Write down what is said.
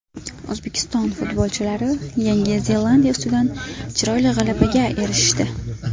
O‘zbekiston futbolchilari Yangi Zelandiya ustidan chiroyli g‘alabaga erishdi.